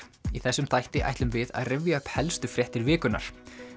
í þessum þætti ætlum við að rifja upp helstu fréttir vikunnar